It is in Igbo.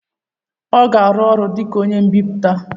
ọ ga-arụ ọrụ dị ka onye mbipụta?